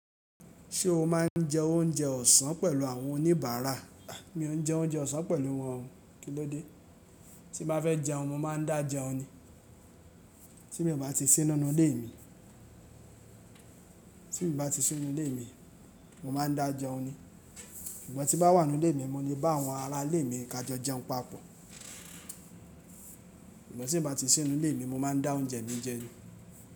Ṣé o máà ń jẹ oúnjẹ ọ̀sán pẹ̀lú àwọn oníbàárà? Mi ò ń jẹ oúnjẹ ọ̀sán pẹ̀lú wọn. Kí ló dé? Tí n bá fẹ́ jẹun, mo máa ń dà jẹun ni. Tí mi o bá ti sì nínú ilé mi, tí n bá ti sì nínú ilé mi, mo máa ń dà jẹun ni. Sugbon tí n bá wà nínú ilé mi, mo lè bá àwọn ará ilé mi ka jọ jẹun papọ. Sugbon tí n bá ti sì nínú ilé mi, mo máa ń dà oúnjẹ mi jẹ ni.